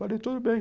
Falei, tudo bem.